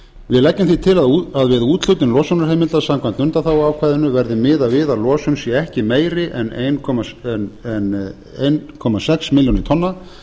við leggjum því til að við úthlutun losunarheimilda samkvæmt undanþáguákvæðinu verði miðað við að losun sé ekki meiri en einn komma sex milljónir tonna